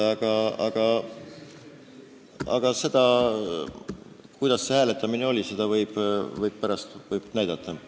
Aga seda, kuidas see hääletamine läks, võib pärast näidata.